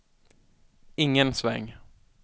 ingen sväng